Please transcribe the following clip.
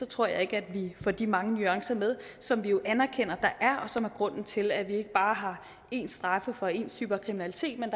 tror jeg ikke at vi får de mange nuancer med som vi jo anerkender der er og som er grunden til at vi ikke bare har ens straffe for ens typer kriminalitet men